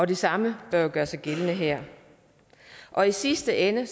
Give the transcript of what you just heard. det samme bør gøre sig gældende her og i sidste ende